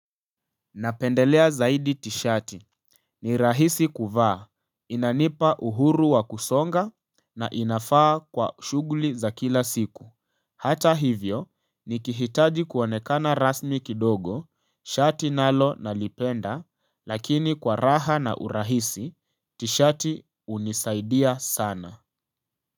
Napendelea zaidi tis'hati. Ni rahisi kuvaa. Inanipa uhuru wa kusonga na inafaa kwa shuguli za kila siku. Hata hivyo, nikihitaji kuonekana rasmi kidogo, shati nalo nalipenda, lakini kwa raha na urahisi, tishati hunisaidia sana.